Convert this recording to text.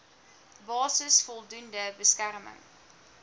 basis voldoende beskerming